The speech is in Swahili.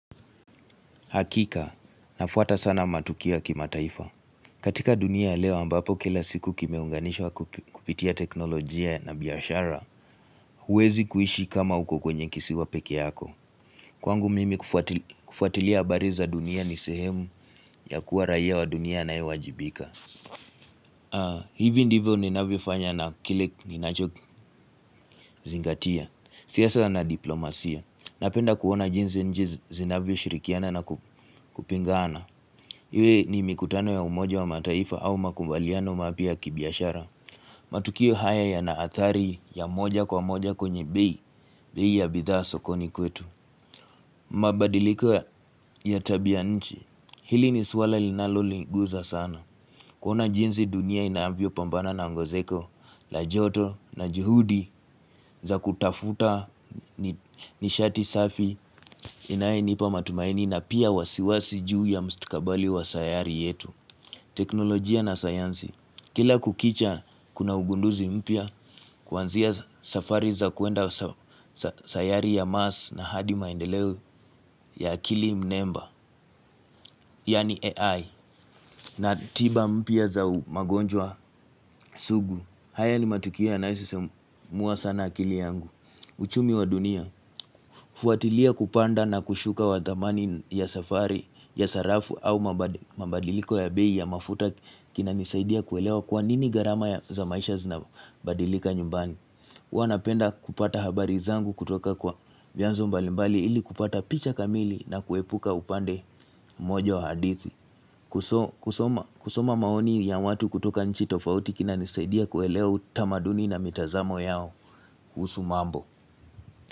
Hakika nafuata sana matukio ya kimataifa katika dunia ya leo mbapo kila siku kimeunganishwa kupitia teknolojia na biashara huwezi kuishi kama uko kwenye kisiwa peke yako kwangu mimi kufuatilia habari za dunia ni sehemu ya kuwa raia wa dunia anaewajibika hivi ndivyo ninavyofanya na kile ninacho zingatia siasa na diplomasia napenda kuona jinsi nchi zinavyoshirikiana na kupingaana iwe ni mikutano ya umoja wa mataifa au makubaliano mapya ya kibiashara matukio haya yanaathari ya moja kwa moja kwenye bei bei ya bidhaa sokoni kwetu mabadiliko ya tabia nchi hili ni suala linalo ligusa sana kuna jinsi dunia inavyo pambana na ngozeko la joto na juhudi za kutafuta nishati safi inaenipa matumaini na pia wasiwasi juu ya mstakabali wa sayari yetu teknolojia na sayansi kila kukicha kuna ugunduzi mpya kuanzia safari za kwenda sayari ya mars na hadi maendeleo ya akili mnemba yani AI na tiba mpya za magonjwa sugu haya ni matukio yanayo sisimua sana akili yangu uchumi wa dunia fuatilia kupanda na kushuka wa dhamani ya safari ya sarafu au mabadiriko ya bei ya mafuta kinanisaidia kuelewa kwa nini gharama za maisha zinabadilika nyumbani huwa napenda kupata habari zangu kutoka kwa vyanzo mbalimbali ili kupata picha kamili na kuepuka upande mmoja wa hadithi kusoma kusoma maoni ya watu kutoka nchi tofauti kinanisaidia kuelewa utamaduni na mitazamo yao kuhusu mambo.